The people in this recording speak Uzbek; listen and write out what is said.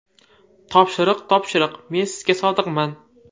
Topshiriq topshiriq, men sizga sodiqman.